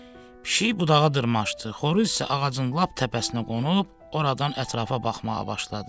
Pişik budağa dırmaşdı, xoruz isə ağacın lap təpəsinə qonub, oradan ətrafa baxmağa başladı.